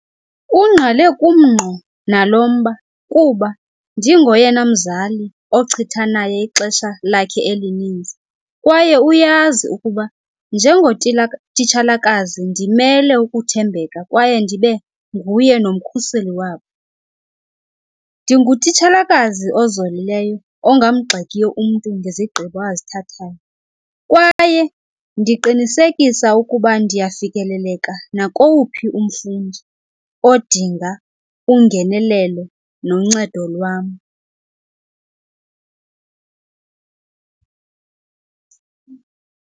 Ungqale kum ngqo nalo mba kuba ndingoyena mzali ochitha naye ixesha lakhe elininzi kwaye uyazi ukuba titshalakazi ndimele ukuthembeka kwaye ndibe nguye nomkhuseli wabo. Ndingutitshalakazi ozolileyo ongamgxekiyo umntu ngezigqibo azithathayo kwaye ndiqinisekisa ukuba ndiyafikeleleka nakowuphi umfundi odinga ungenelelo noncedo lwam.